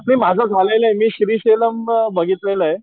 मी माझं झालेलय मी श्रीशैल्यम बघितलेलंय